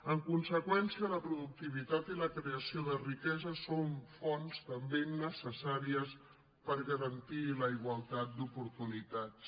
en conseqüència la productivitat i la creació de riquesa són fonts també necessàries per garantir la igualtat d’oportunitats